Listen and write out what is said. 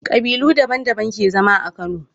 Kabilu daban daban ke zama a kano